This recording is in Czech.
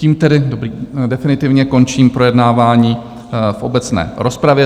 Tím tedy definitivně končím projednávání v obecné rozpravě.